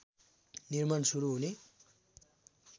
निर्माण सुरु हुने